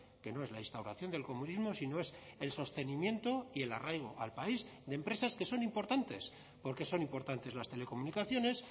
que no es la instauración del comunismo sino es el sostenimiento y el arraigo al país de empresas que son importantes porque son importantes las telecomunicaciones